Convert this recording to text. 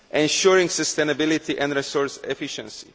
ensuring sustainability and resource efficiency